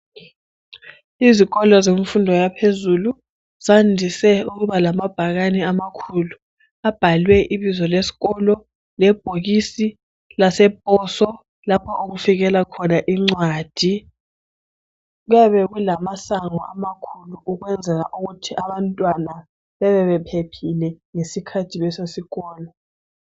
Izikolo zemfundo yaphezulu zandise ukuba lamabhakane amakhulu. Abhalwe ibizo kesikolo. Lebhokisi laseposo. Lapho okufikela khona incwadi, Kuyabe kulamasango amakhulu. Ukwenzela ukuthi abantwana bebe bephephile, ngesikhathi besesikolo.